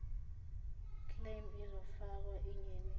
claim izofakwa engenisweni